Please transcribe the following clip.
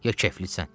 Ya keflisən?